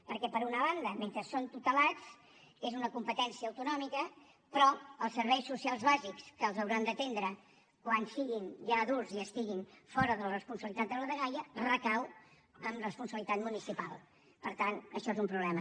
perquè per una banda mentre són tutelats és una competència autonòmica però els serveis socials bàsics que els hauran d’atendre quan siguin ja adults i estiguin fora de la responsabilitat de la dgaia recauen responsabilitat municipal per tant això és un problema